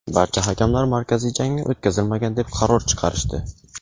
barcha hakamlar markaziy jangni o‘tkazilmagan deb qaror chiqarishdi.